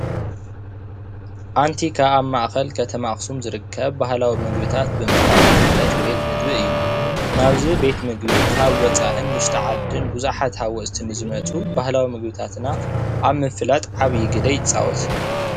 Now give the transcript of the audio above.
ኣንቲካ ኣብ ማእከል ከተማ ኣክሱም ዝርከብ ባህላዊ ምግብታት ብምቅራብ ዝፍለጥ ቤት ምግቢ እዩ፡፡ ናብዚ ቤት ምግቢ ካብ ወፃኢን ውሽጢ ዓዲን ቡዙሓት ሃወፅቲ ንዝመፁ ባህላዊ ምግብታትና ኣብ ምፍላጥ ዓብይ ግደ ይፃወት፡፡